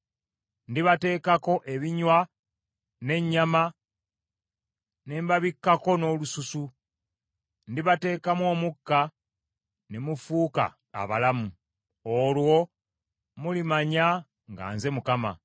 Ndibateekako ebinywa n’ennyama ne mbabikkako n’olususu; ndibateekamu omukka, ne mufuuka abalamu. Olwo mulimanya nga nze Mukama .’”